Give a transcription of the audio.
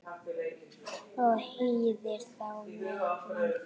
og hýðir þá með vendi.